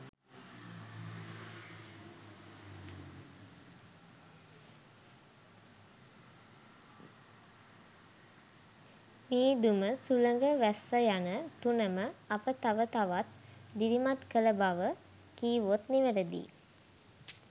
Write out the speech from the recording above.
මීදුම සුළඟ වැස්ස යන තුනම අප තව තවත් දිරිමත් කළ බව කිව්වොත් නිවැරදියි.